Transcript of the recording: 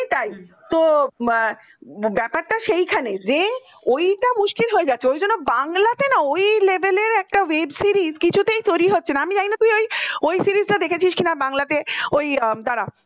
সত্যি তাই তো ব্যাপার টা সেইখানেই যা ঐটা মুশকিল হয়ে যাচ্ছে ওই জন্য বাংলাতে না ওই level এর একটা web series কিছুতেই তৈরী হচ্ছে না আমি জানি না তুই ওই series টা দেখেছিস কি না বাংলা তে ওই দারা